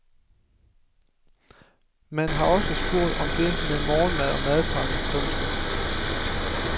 Man har også spurgt om det med morgenmad og madpakker. punktum